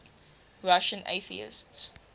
russian atheists